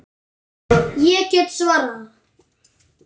Ég get svarið það.